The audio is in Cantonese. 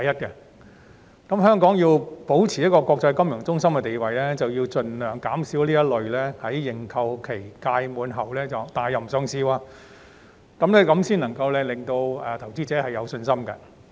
香港如要保持國際金融中心的地位，便須盡量減少這種在認購期屆滿後撤回上市的情況，以給予投資者信心。